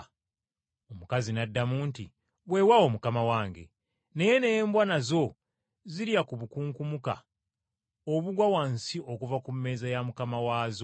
Omukazi n’addamu nti, “Weewaawo, Mukama wange, naye n’embwa nazo zirya ku bukunkumuka obugwa wansi okuva ku mmeeza ya mukama waazo.”